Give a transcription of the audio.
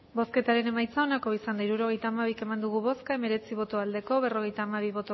hirurogeita hamabi eman dugu bozka hemeretzi bai berrogeita hamabi